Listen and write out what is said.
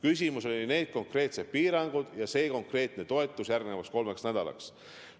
Aga jutt on nendest konkreetsetest piirangutest ja konkreetsest toetusest järgmiseks kolmeks nädalaks.